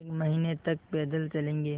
एक महीने तक पैदल चलेंगे